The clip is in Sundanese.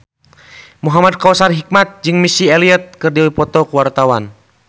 Muhamad Kautsar Hikmat jeung Missy Elliott keur dipoto ku wartawan